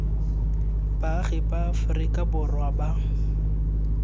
baagi ba aferika borwa ba